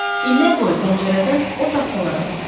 İllər boyu pəncərədən o taxtalara baxdım.